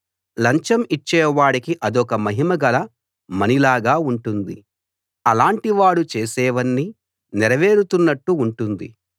లంచం ఇచ్చేవాడికి అదొక మహిమగల మణి లాగా ఉంటుంది అలాంటివాడు చేసేవన్నీ నెరవేరుతున్నట్టు ఉంటుంది